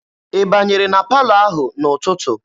Ị banyere na palọ ahụ n'ụtụtụ?